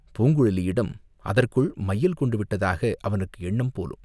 பூங்குழலியிடம் அதற்குள் மையல் கொண்டு விட்டதாக அவனுக்கு எண்ணம் போலும்!